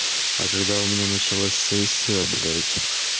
а когда у меня началась сессия б